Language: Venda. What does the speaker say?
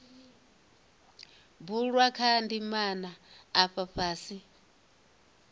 bulwa kha ndimana afha fhasi